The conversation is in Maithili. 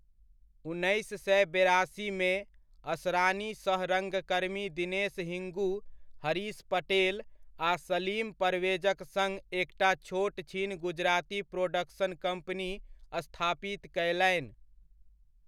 उन्नैस सए बेरासीमे, असरानी सह रङ्गकर्मी दिनेश हिंगू, हरीश पटेल आ सलीम परवेजक सङ्ग एकटा छोट छिन गुजराती प्रोडक्शन कम्पनी स्थापित कयलनि।